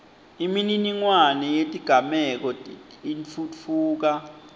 imininingwane yetigameko itfutfuka